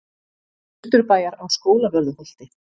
Austurbæjar á Skólavörðuholti.